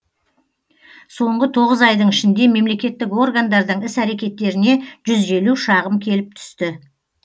соңғы тоғыз айдың ішінде мемлекеттік органдардың іс әрекеттеріне жүз елу шағым келіп түсті